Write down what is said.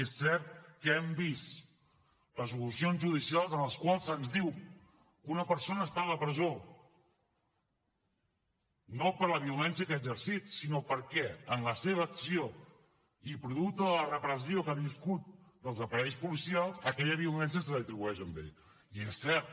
és cert que hem vist resolucions judicials en les quals se’ns diu que una persona està a la presó no per la violència que ha exercit sinó perquè en la seva acció i producte de la repressió que ha viscut dels aparells policials aquella violència se li atribueix a ell i és cert